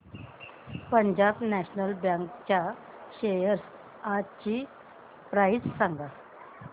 Punjab National Bank च्या shares आजची price सांगा